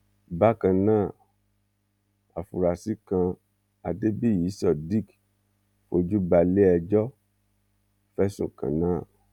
bákan náà àfúráṣí kan adébíyí sodiq fojú balẹẹjọ fẹsùn kan náà